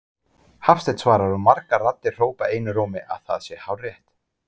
Hafsteinn svarar og margar raddir hrópa einum rómi, að það sé hárrétt.